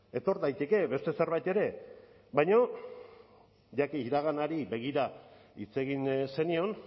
etor daiteke beste zerbait ere baina ja que iraganari begira hitz egin zenion